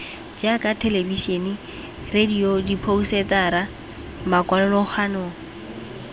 jaaka thelebisene radio diphousetara makwalokgang